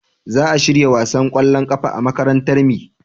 za a shirya wasan kwallon kafa a makarantar mi